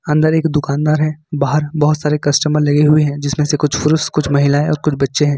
अंदर एक दुकानदार है बाहर बहोत सारे कस्टमर लगे हुए हैं जिसमें से कुछ पुरुष कुछ महिलाएं और कुछ बच्चे हैं।